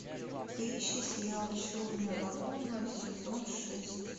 поищи сериал черная лагуна сезон шесть